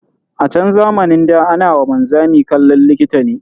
A chan zamanin ɗa, ana wa wanzami kallon likita ne.